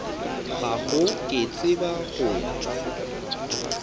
gago ke tseba go wa